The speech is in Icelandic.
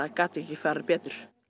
gat ekki farið betur